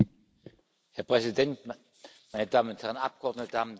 Herr Präsident, meine Damen und Herren Abgeordnete, Damen und Herren!